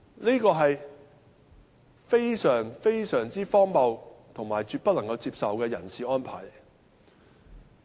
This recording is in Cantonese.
這是非常荒謬和絕不能接受的人事安排。